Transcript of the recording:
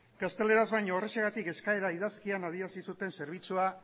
gazteleraz baino horrexegatik eskaera idazkian adierazi zuten zerbitzua